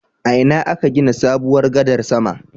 A ina aka gina sabuwar gadar sama?